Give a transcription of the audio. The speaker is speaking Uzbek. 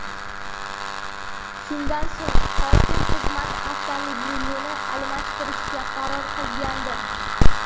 Shundan so‘ng hokim xizmat avtomobilini almashtirishga qaror qilgandi .